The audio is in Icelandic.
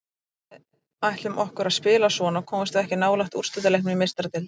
Ef að við ætlum okkur að spila svona komumst við ekki nálægt úrslitaleiknum í Meistaradeildinni.